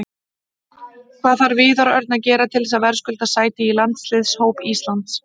Hvað þarf Viðar Örn að gera til þess að verðskulda sæti í landsliðshóp Íslands?